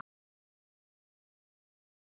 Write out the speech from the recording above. Áttum við fund með fréttamönnum þarsem